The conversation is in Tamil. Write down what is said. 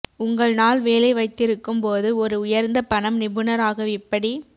உங்கள் நாள் வேலை வைத்திருக்கும் போது ஒரு உயர்ந்த பணம் நிபுணர் ஆக எப்படி